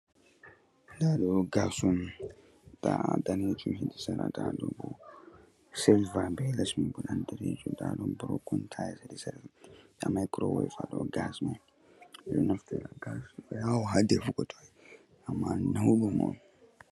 Ndaa ɗoo gaas on, ndaa daneejum ɗum sera daandeejum, silva leesɗon boɗeejum, ndaa maykurowef haa dow gaas man. Ɓe ɗon naftira gaas ha defugo, ammaa nawɗum on.